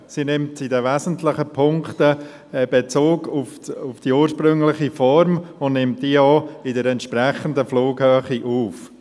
Sie nimmt in den wesentlichen Punkten Bezug auf die ursprüngliche Form und nimmt diese auch in der entsprechenden Flughöhe auf.